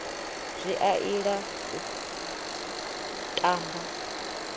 zwi a ila u tamba